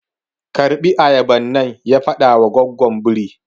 Karɓi ayaban nan! ya faɗawa goggon birin.